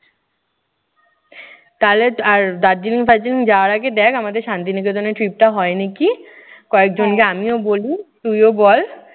তাহলে আর দার্জিলিং ফারজিলিং যাওয়ার আগে দেখ আমাদের শান্তিনিকেতনের trip টা হয় না কি। কয়েকজনকো আমিও বলি, তুইও বল।